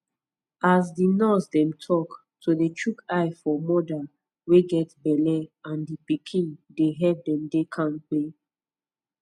as di nurse dem talk to dey chook eye for moda wey get belle and di pikin dey help dem dey kampe